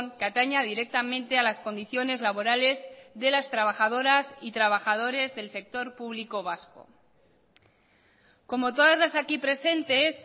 que ataña directamente a las condiciones laborales de las trabajadoras y trabajadores del sector público vasco como todas las aquí presentes